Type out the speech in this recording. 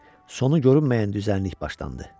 Sonu görünməyən düzənlik başlandı.